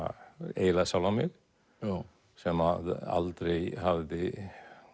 eiginlega sjálfan mig sem að aldrei hafði